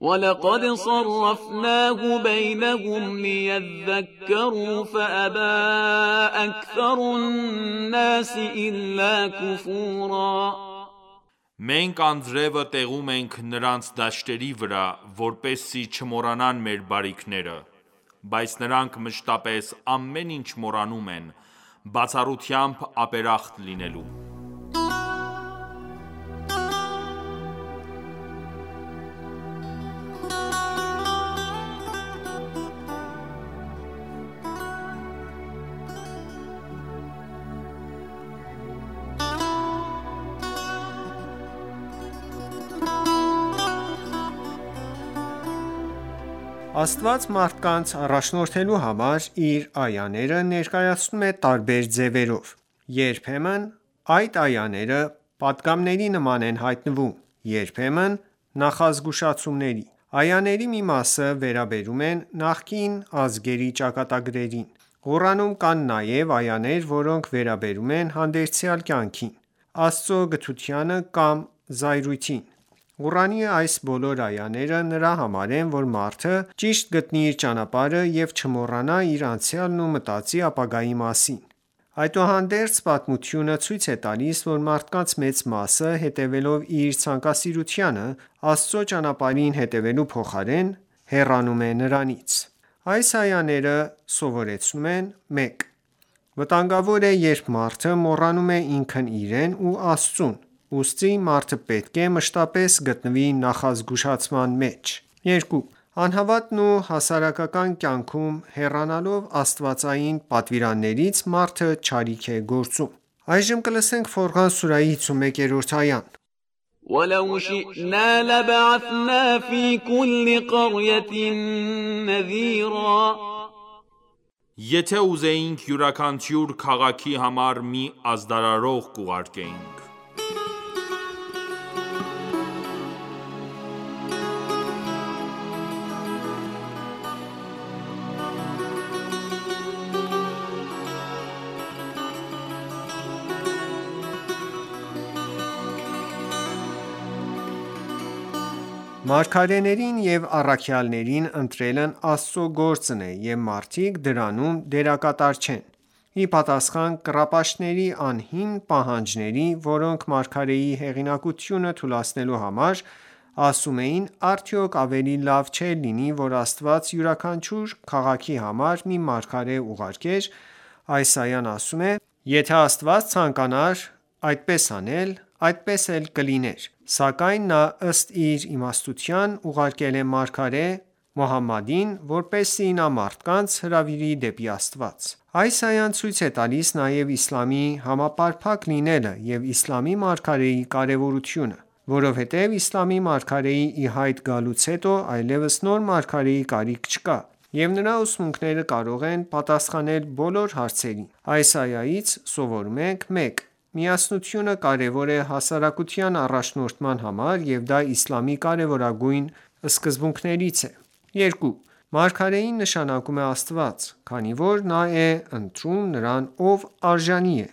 وَلَقَدْ صَرَّفْنَاهُ بَیْنَهُمْ لِیَذَّکَّرُوا فَأَبَى أَکْثَرُ النَّاسِ إِلَّا کُفُورًا Մենք անձրևը տեղում ենք նրանց դաշտերի վրա, որպեսզի չմոռանան մեր բարիքները: Բայց նրանք մշտապես ամեն ինչ մոռանում են, բացառությամբ ապերախտ լինելու: Աստված մարդկանց առաջնորդելու համար, իր այաները ներկայացնում է տարբեր ձևերով: Երբեմն այդ այաները պատգամների նման են հայտնվում, երբեմն՝ նախազգուշացումների: Այաների մի մասը վերաբերում են նախկին ազգերի ճակատագրերին: Ղուրանում կան նաև այաներ, որոնք վերաբերում են հանդերձյալ կյանքին, Աստծո գթությանը կամ զայրույթին: Ղուրանի այս բոլոր այաները նրա համար են, որ մարդը ճիշտ գտնի իր ճանապարհը և չմոռանա իր անցյալն ու մտածի ապագայի մասին: Այդուհանդերձ, պատմությունը ցույց է տալիս, որ մարդկանց մեծ մասը, հետևելով իր ցանկասիրությանը, Աստծո ճանապարհին հետևելու փոխարեն, հեռանում է նրանից: Այս այայից սովորում ենք. 1. Վտանգավոր է, երբ մարդը մոռանում է ինքն իրեն ու Աստծուն: Ուստի մարդը պետք է մշտապես գտնվի նախազգուշացման մեջ: 2. Անհատական և հասարակական կյանքում հեռանալով աստվածային պատվիրաններից, մարդը չարիք է գործում: Ֆորղան սուրահի 51-րդ այա وَلَوْ شِئْنَا لَبَعَثْنَا فِی کُلِّ قَرْیَةٍ نَذِیرًا Եթե ուզեինք յուրաքաչյուր քաղաքի համար մի ազդարարող կուղարկեինք: Մարգարեներին և առաքյալներին ընտրելն Աստծո գործն է և մարդիկ դրանում դերակատար չեն:Ի պատասխան կռապաշտների անհիմն պահանջների, որոնք մարգարեի հեղինակությունը թուլացնելու համար ասում էին, արդյո՞ք ավելի լավ չէր լինի որ Աստված յուրաքանչյուր քաղաքի համար մի մարգարե ուղարկեր, այս այան ասում է․ «Եթե Աստված ցանկանար այդպես անել, այդպես էլ կլիներ: Սակայն նա ըստ իր իմաստության, ուղարկել է մարգարե Մոհամմադին, որպեսզի նա մարդկանց հրավիրի դեպի Աստված: Այս այան ցույց է տալիս նաև իսլամի համապարփակ լինելը և իսլամի մարգարեի կարևորությունը: Որովհետև իսլամի մարգարեի ի հայտ գալուց հետո, այլևս նոր մարգարեի կարիք չկա և նրա ուսմունքները կարող են պատասխանել բոլոր հարցերին: Այս այայից սովորում ենք. 1. Միասնությունը կարևոր է հասարակության առաջնորդման համար և դա իսլամի կարևորագույն սկզբունքներից է: 2. Մարգարեին նշանակում է Աստված, քանի որ նա է ընտրում նրան, ով արժանի է: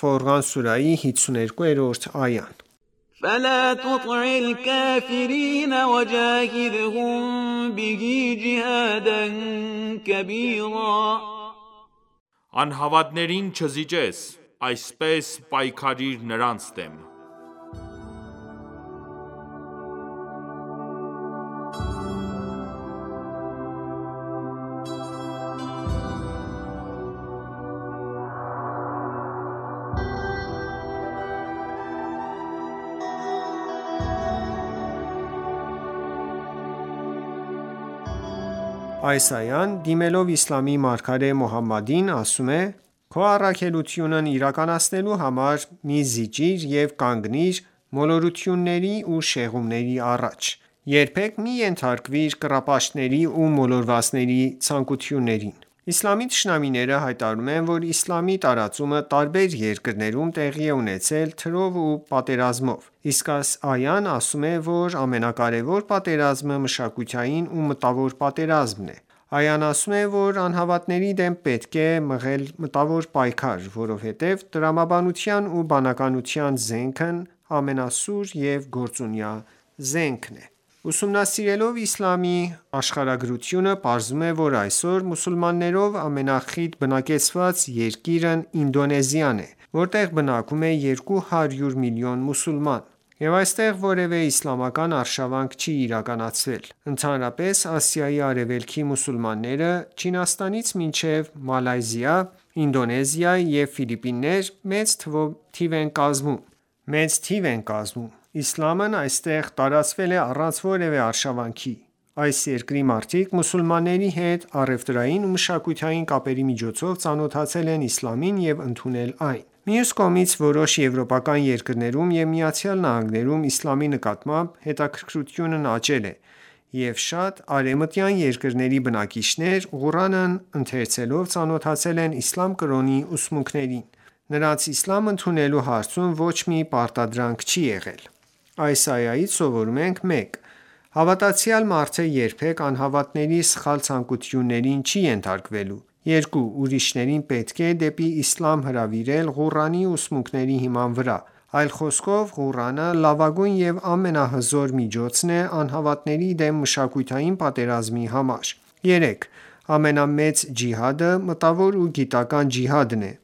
Ֆորղան սուրահի 52 րդ այա فَلَا تُطِعِ الْکَافِرِینَ وَجَاهِدْهُم بِهِ جِهَادًا کَبِیرًا Անհավատներին չզիջես: Այսպես պայքարիր նրանց դեմ: Այս այան, դիմելով իսլամի մարգարե Մոհամմադին, ասում է. Քո առաքելությունն իրականացնելու համար մի զիջիր և կանգիր մոլորությունների ու շեղումների առաջ: Երբեք մի ենթարկվիր կռապաշտների ու մոլորվածների ցանկություններին: Իսլամի թշնամիները հայտարարում են, որ իսլամի տարածումը տարբեր երկրներոմ տեղի է ունեցել թրով ու պատերազմով: Իսկ այս այան ասում է, որ ամենակարևոր պատերազմը մշակութային ու մտավոր պատերազմն է: Այան ասում է, որ անհավատների դեմ պետք է մղել մտավոր պայքար, որովհետև տրամաբանության ու բանականության զենքն ամենասուր և գործունյա զենքն է: Ուսումնասիրելով իսլամի աշխարհագրությունը, պարզվում է, որ այսօր մուսուլմաններով ամենախիտ բնակեցված երկիրն Ինդոնեզիան է, որտեղ բնակվում է 200 միլիոն մուսուլման: Եվ այստեղ որևէ իսլամական արշավանք չի իրականացվել: Ընդհանրապես, Ասիայի արևելքի մուսուլմանները՝ Չինաստանից մինչև Մալայզիա, Ինդոնեզիա և Ֆիլիպիններ, մեծ թիվ են կազմում: Իսլամն այստեղ տարածվել է առանց որևէ արշավանքի: Այս երկրի մարդիկ մուսուլմանների հետ առևտրային ու մշակութային կապերի միջոցով ծանոթացել են իսլամին և ընդունել այն: Մյուս կողմից, որոշ եվրոպական երկրներում ու ԱՄՆ-ում իսլամի նկատմամբ հետաքրքրությունն աճել է և շատ արևմտյան երկրների բնակիչներ, Ղուրանն ընթերցելով, ծանոթացել են իսլամ կրոնի ուսումունքներին: Նրանց իսլամ ընդունելու հարցում ոչ մի պարտադրանք չի եղել։ Այս այայից սովորում ենք. 1. Հավատացյալ մարդը երբեք անհավատների սխալ ցանկություններին չի ենթարկվելու: 2. Ուրիշներին պետք է դեպի իսլամ հրավիրել Ղուրանի ուսմունքների հիման վրա: Այլ խոսքով, Ղուրանը լավագույն և ամենահզոր միջոցն է՝ անհավատների դեմ մշակութային պատերազմի համար: 3. Ամենամեծ ջիհադը մտավոր ու գիտական ջիհադն է՝